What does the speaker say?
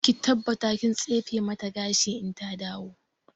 Ki tabbata kin tsefe mata gashi in ta dawo!